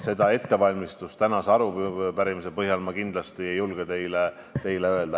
Selle arupärimise vastuste ettevalmistuse põhjal ma kindlasti ei julge seda teile öelda.